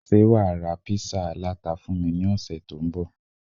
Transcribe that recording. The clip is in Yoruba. Ṣé wà á ra Písà aláta fún mi ní ọ̀sẹ̀ tó ń bọ̀?